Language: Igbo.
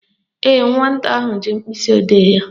Ee, nwata ahụ ji mkpịsịodee ya